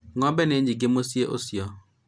ng'ombe nĩ nyĩngĩ mũciinĩ ucio